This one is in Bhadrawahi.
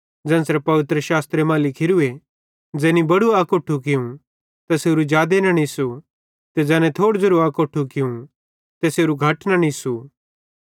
ज़ेन्च़रे पवित्रशास्त्रे मां लिखोरूए ज़ैनी बड़ू अकोट्ठू कियूं तैसेरू जादे न निससू ते ज़ैने थोड़ू अकोट्ठू कियूं तैसेरू घट न निस्सू